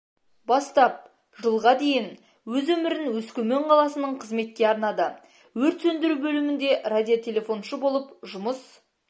бастап жылға дейін өз өмірін өскемен қаласының қызметке арнады өрт сөндіру бөлімінде радиотелефоншы болып жұмыс